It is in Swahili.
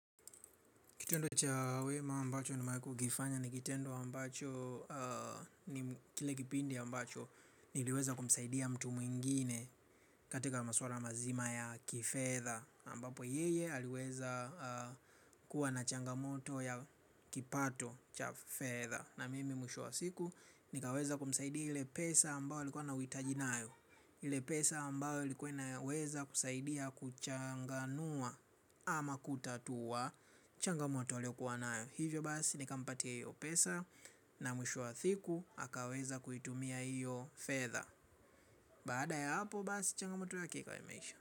Kitendo cha wema ambacho nimewai kukifanya ni kitendo ambacho ni kile kipindi ambacho niliweza kumsaidia mtu mwingine katika maswala mazima ya kifedha ambapo yeye aliweza kuwa na changamoto ya kipato cha fedha. Na mimi mwisho wa siku nikaweza kumsaidia ile pesa ambao alikua na uitaji nayo ile pesa ambayo ulikuwa inaweza kusaidia kuchanganua ama kutatua changamoto aliokuwa nayo. Hivyo basi nika mpatia hiyo pesa na mwisho wa siku hakaweza kuitumia hiyo fedha. Baada ya hapo basi changamoto yake ikawa imeisha.